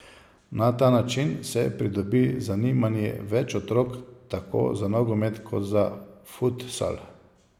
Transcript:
Na ta način se pridobi zanimanje več otrok tako za nogomet kot za futsal.